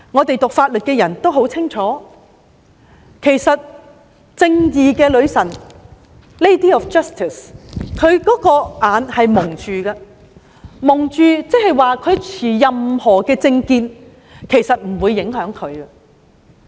讀法律的人都很清楚，正義女神是蒙上眼睛的，原因是不論當事人持任何政見，她都不受影響。